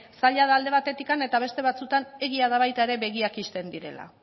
zaila da alde batetik eta beste batzuetan egia da baita ere begiak ixten direla